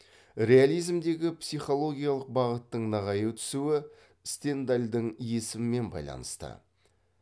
реализмдегі психологиялық бағыттың нығая түсуі стендальдың есімімен байланысты